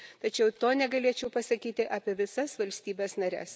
Tačiau to negalėčiau pasakyti apie visas valstybes nares.